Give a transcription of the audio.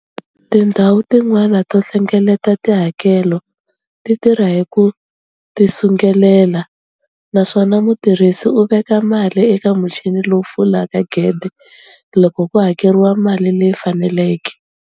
Tindhawu tin'wana to hlengeleta tihakelo ti tirha hi ku tisungulela, naswona mutirhisi u veka mali eka muchini lowu pfulaka gede loko ku hakeriwa mali leyi faneleke.